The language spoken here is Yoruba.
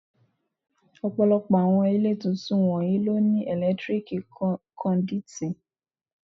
Ọ̀pọ̀lọpọ̀ àwọn ilé tuntun wọ̀nyí ló ní ẹ̀lẹ́tíríkì kọ́ndúítí.